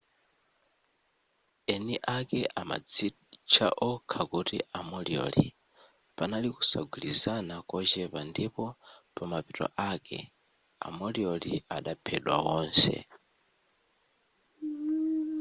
eni ake amadzitcha okha kuti a moriori panali kusagwirizana kochepa ndipo pa mapeto ake a moriori adaphedwa wonse